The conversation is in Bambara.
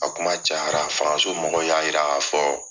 A kuma ca yara, fangaso mɔgɔw y'a yira ka fɔ ko